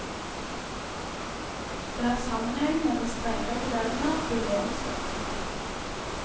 Det har sammenheng med den strenge reguleringen av byråenes virksomhet.